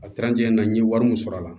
A na n ye wari min sɔrɔ a la